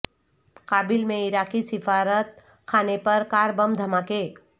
کابل میں عراقی سفارت خانے پر کار بم دھماکے